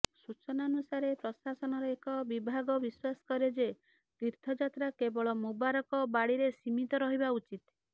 ସୂଚନାନୁସାରେ ପ୍ରଶାସନର ଏକ ବିଭାଗ ବିଶ୍ୱାସ କରେ ଯେ ତୀର୍ଥଯାତ୍ରା କେବଳ ମୁବାରକ ବାଡ଼ିରେ ସୀମିତ ରହିବା ଉଚିତ୍